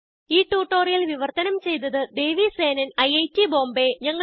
ഈ ട്യൂട്ടോറിയൽ വിവർത്തനം ചെയ്തത് ദേവി സേനൻ ഐറ്റ് ബോംബേ